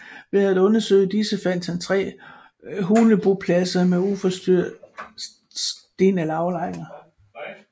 Ved at undersøge disse fandt han tre hulebopladser med uforstyrrede stenalderaflejringer